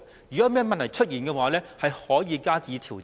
如果有問題出現，可以加以調整。